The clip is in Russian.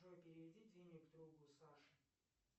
джой переведи денег другу саше